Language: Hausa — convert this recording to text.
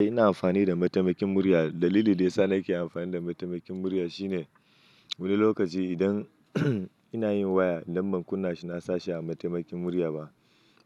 Ina amfani da mataimakin murya. Dalilin da ya sa nake amfani da mataimakin murya shine wani lokaci idan ina yin waya idan ban kunna shi na sa shi a mataimakin murya ba,